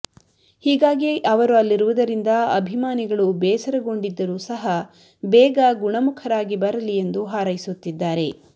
ಹೀಗಾಗಿ ಅವರು ಅಲ್ಲಿರುವುದರಿಂದ ಅಭಿಮಾನಿಗಳು ಬೇಸರಗೊಂಡಿದ್ದರೂ ಸಹ ಬೇಗ ಗುಣಮುಖರಾಗಿ ಬರಲಿ ಎಂದು ಹಾರೈಸುತ್ತಿದ್ದಾರೆ